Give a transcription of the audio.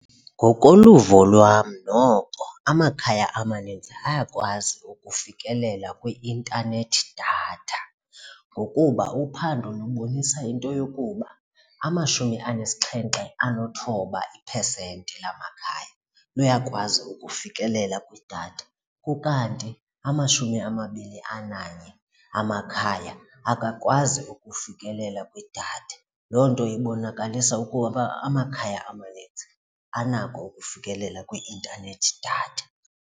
Ngokoluvo lwam noko amakhaya amaninzi ayakwazi ukufikelela kwi-internet data ngokuba uphando lubonisa into yokuba amashumi anesixhenxe anethoba iphesenti lamakhaya luyakwazi ukufikelela kwidatha ukanti amashumi amabini ananye amakhaya akakwazi ukufikelela kwidatha. Loo nto ibonakalisa ukuba amakhaya amaninzi anako ukufikelela kwi-internet data.